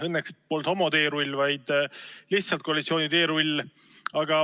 Õnneks polnud see homoteerull, vaid lihtsalt koalitsiooni teerull.